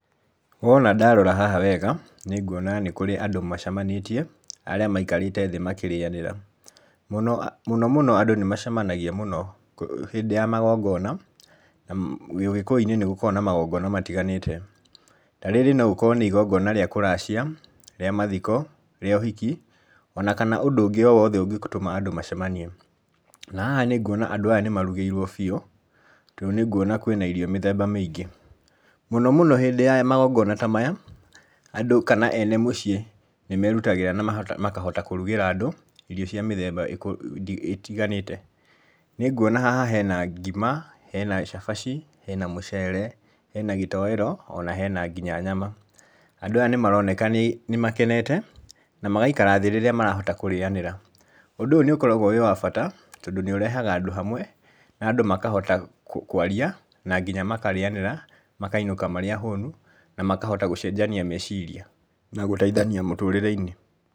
Wona ndarora haha wega, nĩ nguona nĩ kũrĩ andũ macemanĩtie arĩa maikarĩte thĩ makĩrĩanĩra, mũno mũno mũno andũ nĩ macemanagia mũno hĩndĩ ya magongona, na ũgĩkũyũ-inĩ nĩ gũkoragwo na magongona matiganĩte. Ta rĩrĩ no rĩkorwo nĩ igongona rĩa kũracia, rĩa mathiko, rĩa ũhiki, ona kana ũndũ ũngĩ o wothe ũngĩtũma andũ macemanie, na haha nĩ nguona andũ aya nĩ marugĩirwo biũ, tondũ nĩ nguona kwina irio mĩthemba mĩingĩ. Mũno mũno hĩndĩ ya magongona ta maya, andũ kana ene mũciĩ nĩ merutagĩra na makahota kũrugĩra andũ irio cia mĩthemba ĩtiganĩte. Nĩ nguona haha hena ngima, hena cabaci, hena mũcere, hena gĩtoero, ona hena nginya nyama. Andũ aya nĩ maroneka nĩ makenete, na magaikara thĩ rĩrĩa marahota kũrĩanĩra. Ũndũ ũyũ nĩ ũkoragwo ũrĩ wa bata tondũ nĩ ũrehaga andũ hamwe, na andũ makahota kwaria na nginya makarĩanĩra makainũka marĩ ahũnu na makahota gũcenjania meciria na gũteithania mũtũrĩre-inĩ.